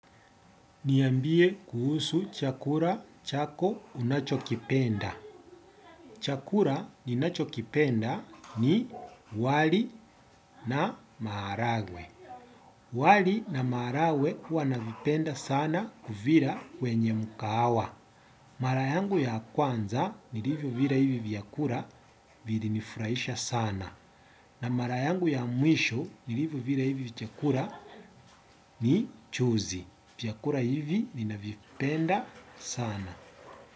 Niambie kuhusu chakula chako unachokipenda. Chakula ninachokipenda ni wali na maharagwe. Wali na maharakwe kuwa navipenda sana kuvila kwenye mkahawa. Mara yangu ya kwanza niliivyovila hivi vyakula vilinifurahisha sana. Na mara yangu ya mwisho nilivyovila hivi chakula ni juzi. Vyakula hivi ninavipenda sana. Kwa hivyo.